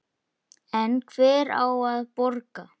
En hver á að borga?